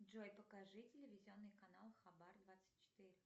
джой покажи телевизионный канал хабар двадцать четыре